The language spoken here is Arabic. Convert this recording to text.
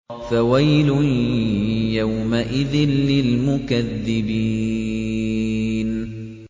فَوَيْلٌ يَوْمَئِذٍ لِّلْمُكَذِّبِينَ